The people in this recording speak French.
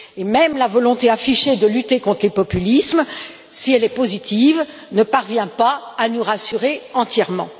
Même la volonté affichée de lutter contre les populismes, si elle est positive, ne parvient pas à nous rassurer entièrement.